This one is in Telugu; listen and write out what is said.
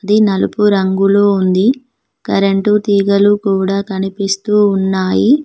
ఇది నలుపు రంగులో ఉంది కరెంటు తీగలు కూడా కనిపిస్తూ ఉన్నాయి.